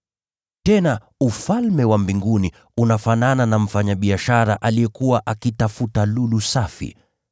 “Tena, Ufalme wa Mbinguni unafanana na mfanyabiashara aliyekuwa akitafuta lulu safi.